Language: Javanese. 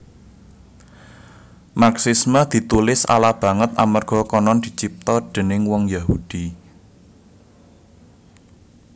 Marxisme ditulis ala banget amerga konon dicipta déning wong Yahudi